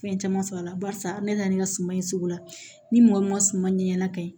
Fɛn caman sɔrɔ a la barisa ne na na ni ka suma ye sugu la ni mɔgɔ min ma sumana ɲɛnana ka ɲi